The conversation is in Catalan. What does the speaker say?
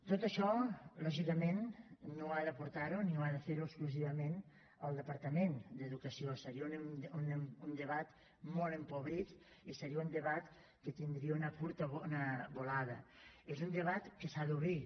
tot això lògicament no ha de portar ho ni ha de fer ho exclusivament el departament d’educació seria un debat molt empobrit i seria un debat que tindria una curta volada és un debat que s’ha d’obrir